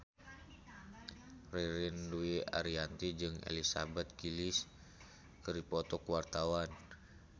Ririn Dwi Ariyanti jeung Elizabeth Gillies keur dipoto ku wartawan